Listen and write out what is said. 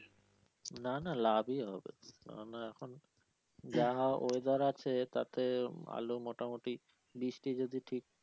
না না লাভই হবে কেননা এখন যা হ্যা weather আছে তাতে আলু মোটামুটি বৃষ্টি যদি ঠিক।